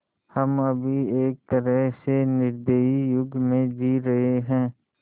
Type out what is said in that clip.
हम अभी एक तरह से निर्दयी युग में जी रहे हैं